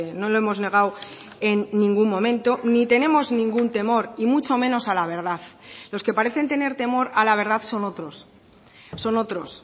no lo hemos negado en ningún momento ni tenemos ningún temor y mucho menos a la verdad los que parecen tener temor a la verdad son otros son otros